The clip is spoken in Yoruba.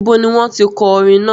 Ibo ni wọ́n tí kọ orin náà?